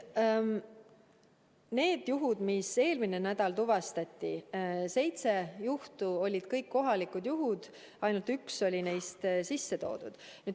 Need juhud, mis eelmine nädal tuvastati, need seitse juhtu, olid kõik kohalikud juhud, ainult üks oli neist sisse toodud.